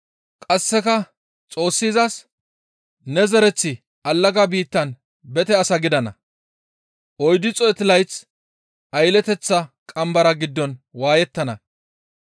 Qasseka Xoossi izas, ‹Ne zereththi allaga biittan bete as gidana. Oyddu xeetu layth aylleteththa qambara giddon waayettana.